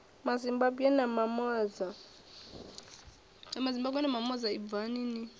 mazimbabwe na mamoza ibvani ni